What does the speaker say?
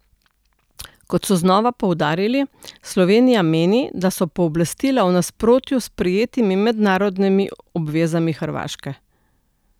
Kot so znova poudarili, Slovenija meni, da so pooblastila v nasprotju s sprejetimi mednarodnimi obvezami Hrvaške.